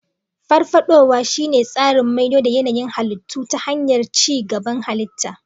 Farfadowa shine tsarin maido da yanayin halittu ta hanyar ci gaban halitta.